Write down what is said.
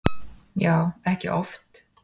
Já, ekki oft